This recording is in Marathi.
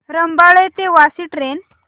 रबाळे ते वाशी ट्रेन